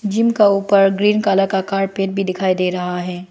Gym का ऊपर green colour का कारपेट भी दिखाई दे रहा है।